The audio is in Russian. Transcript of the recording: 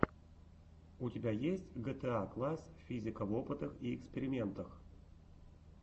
у тебя есть гетаакласс физика в опытах и экспериментах